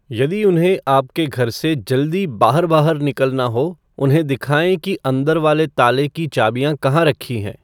यदि उन्हें आपके घर से जल्दी बाहर बाहर निकलना हो उन्हें दिखाएँ कि अंदर वाले ताले की चाबियाँ कहाँ रखी हैं